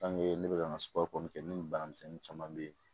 ne bɛka suwaro kɛ ne ni bana misɛnnin caman be yen